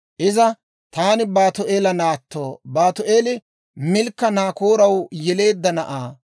Iza, «Taani Baatu'eela naatto; Baatu'eeli Milkka Naakooraw yeleedda na'aa.